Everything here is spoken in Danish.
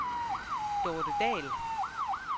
Dorte Dahl